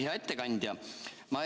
Hea ettekandja!